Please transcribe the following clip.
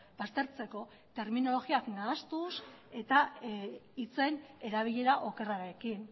baztertzeko terminologia nahastuz eta hitzen erabilera okerrarekin